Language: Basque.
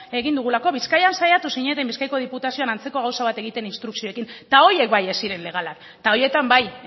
egin dugulako bizkaian saiatu zineten bizkaiko diputazioan antzeko gauza bat egiten instrukzioekin eta horiek bai ez ziren legalak eta horietan bai